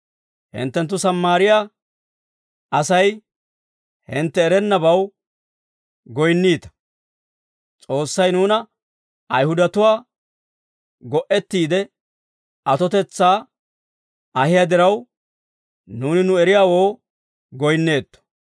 Hinttenttu Sammaariyaa Asay hintte erennabaw goyinniita; S'oossay nuuna Ayihudatuwaa go"ettiide atotetsaa ahiyaa diraw, nuuni nu eriyaawoo goyinneetto.